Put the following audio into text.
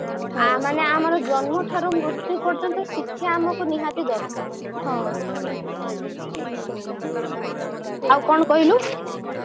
ମାନେ ଆମ ଜନ୍ମଠାରୁ ମୃତ୍ୟୁ ପର୍ଯ୍ୟନ୍ତ ଶିକ୍ଷା ଆମକୁ ନିହାତି ଦରକାର ଆଉ କଣ କହିଲୁ